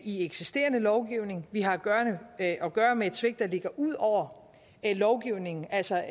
i eksisterende lovgivning vi har at at gøre med et svigt der ligger ud over lovgivningen altså